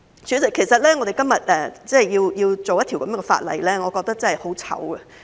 主席，其實我們今天要處理這樣的法案，令我感到很羞耻。